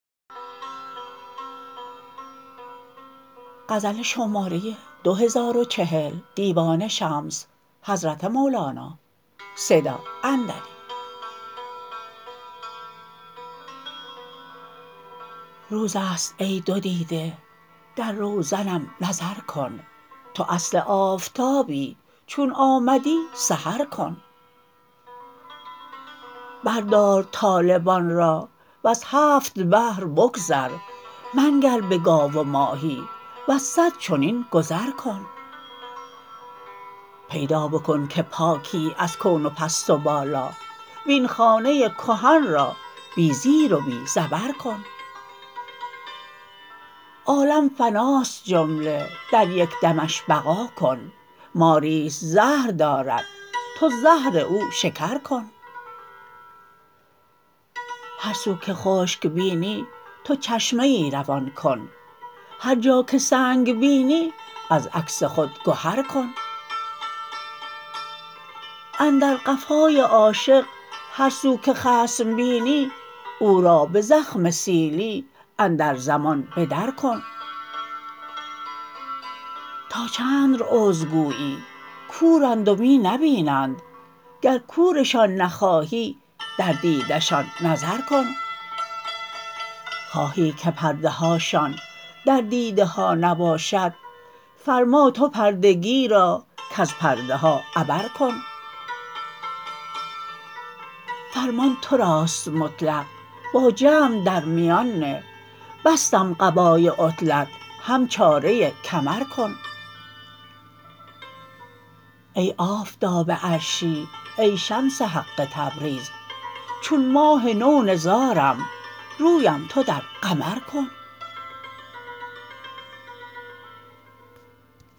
روز است ای دو دیده در روزنم نظر کن تو اصل آفتابی چون آمدی سحر کن بردار طالبان را وز هفت بحر بگذر منگر به گاو و ماهی وز صد چنین گذر کن پیدا بکن که پاکی از کون و پست و بالا وین خانه کهن را بی زیر و بی زبر کن عالم فناست جمله در یک دمش بقا کن ماری است زهر دارد تو زهر او شکر کن هر سو که خشک بینی تو چشمه ای روان کن هر جا که سنگ بینی از عکس خود گهر کن اندر قفای عاشق هر سو که خصم بینی او را به زخم سیلی اندر زمان به درکن تا چند عذر گویی کورند و می نبینند گر کورشان نخواهی در دیده شان نظر کن خواهی که پرده هاشان در دیده ها نباشد فرما تو پردگی را کز پرده ها عبر کن فرمان تو راست مطلق با جمع در میان نه بستم قبای عطلت هم چاره کمر کن ای آفتاب عرشی ای شمس حق تبریز چون ماه نو نزارم رویم تو در قمر کن